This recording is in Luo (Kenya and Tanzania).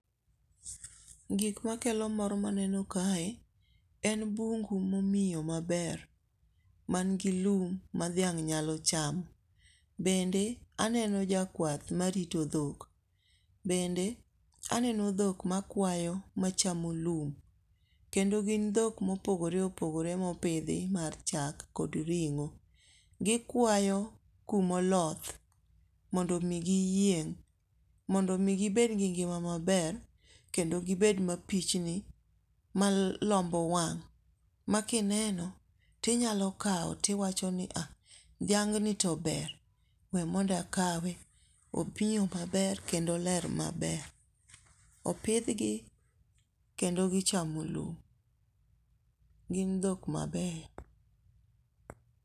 Gik ma kelo mor ma aneno kae, en bungu momiyo maber, mangi lum ma dhiang' nyalo chamo, bende aneno jakwath marito dhok, bende aneno dhok makwayo machaomo lum, kendo gin dhok ma opogore opogore mopithi mar chak kod ring'o, kikwayo kuma oloth mondo mi giyieng' mondo mi gibed gi ng'ima maber kendo gibed mapichni malombo wang' ma kineno tinyalo kawo tiwachoni ha dhiang'ni to ber we monda kawe, opiyo maber kendo oler maber. opithgi kendo gichamo lum gin dhok mabeyo.